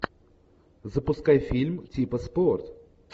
запускай фильм типа спорт